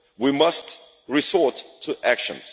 We must resort to action.